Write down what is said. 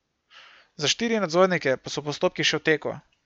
Za štiri nadzornike pa so postopki še v teku.